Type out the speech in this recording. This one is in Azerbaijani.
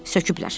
Söküblər.